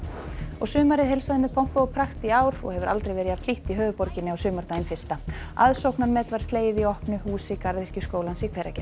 sumarið heilsaði með pompi og prakt í ár og hefur aldrei verið jafn hlýtt í höfuðborginni á sumardaginn fyrsta aðsóknarmet var slegið í opnu húsi Garðyrkjuskólans í Hveragerði